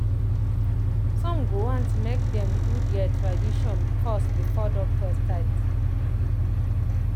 some go want make dem do their tradition first before doctor start.